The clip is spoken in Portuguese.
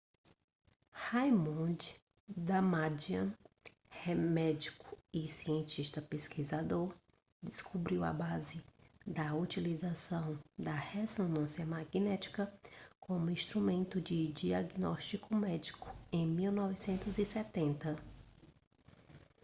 raymond damadian médico e cientista pesquisador descobriu a base da utilização da ressonância magnética como instrumento de diagnóstico médico em 1970